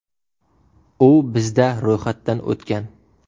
U bizda ro‘yxatdan o‘tgan.